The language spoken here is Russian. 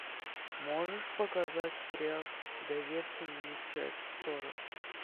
можешь показать сериал доверься мне часть сорок